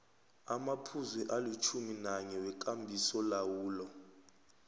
amaphuzu alitjhuminanye wekambisolawulo